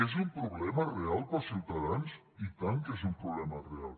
és un problema real per als ciutadans i tant que és un problema real